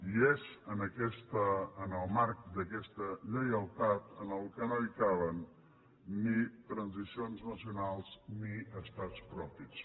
i és en el marc d’aquesta lleialtat que no hi caben ni transicions nacionals ni estats propis